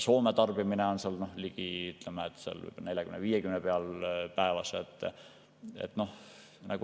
Soome tarbimine on ligi 40–50 gigavatt‑tundi päevas.